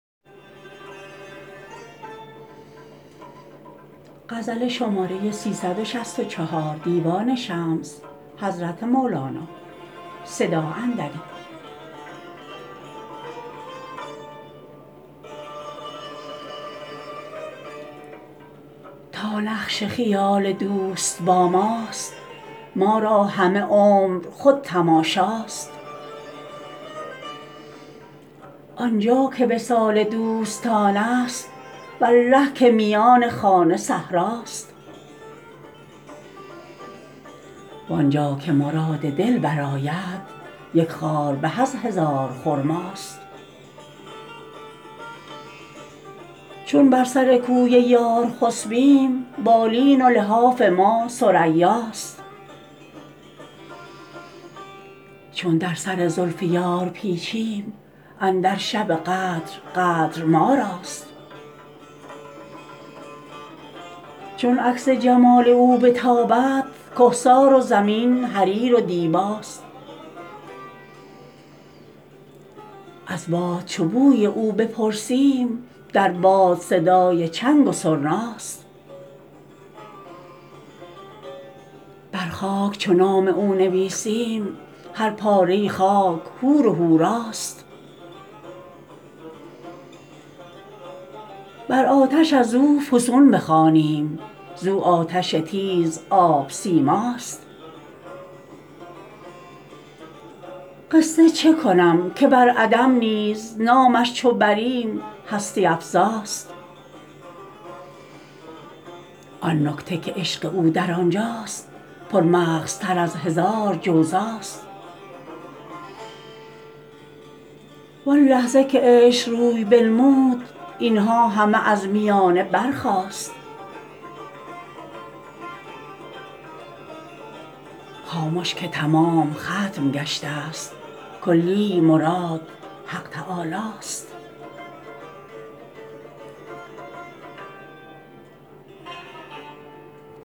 تا نقش خیال دوست با ماست ما را همه عمر خود تماشاست آن جا که وصال دوستانست والله که میان خانه صحراست وان جا که مراد دل برآید یک خار به از هزار خرماست چون بر سر کوی یار خسبیم بالین و لحاف ما ثریاست چون در سر زلف یار پیچیم اندر شب قدر قدر ما راست چون عکس جمال او بتابد کهسار و زمین حریر و دیباست از باد چو بوی او بپرسیم در باد صدای چنگ و سرناست بر خاک چو نام او نویسیم هر پاره خاک حور و حوراست بر آتش از او فسون بخوانیم زو آتش تیزاب سیماست قصه چه کنم که بر عدم نیز نامش چو بریم هستی افزاست آن نکته که عشق او در آن جاست پرمغزتر از هزار جوزاست وان لحظه که عشق روی بنمود این ها همه از میانه برخاست خامش که تمام ختم گشته ست کلی مراد حق تعالاست